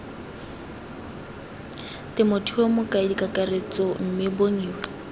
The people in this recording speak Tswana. temothuo mokaedi kakaretso mme bongiwe